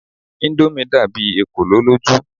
Indomie dàbí ekolo lójú.